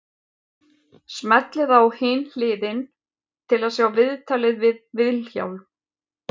Smellið á Hin hliðin til að sjá viðtalið við Vilhjálm.